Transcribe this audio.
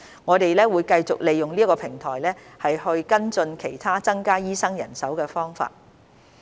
我們會繼續利用這個平台跟進其他增加醫生人手的方法。